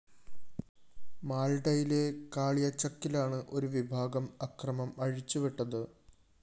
മാള്‍ഡയിലെ കാളിയചക്കിലാണ് ഒരു വിഭാഗം അക്രമം അഴിച്ചുവിട്ടത്